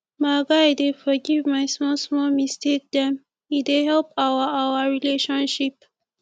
my guy dey forgive my smallsmall mistake dem e dey help our our relationship